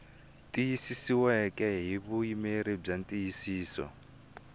tiyisisiweke hi vuyimeri byo tiyisisa